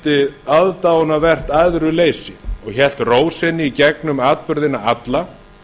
sýndi aðdáunarvert æðruleysi og hélt ró sinni í gegnum atburðina alla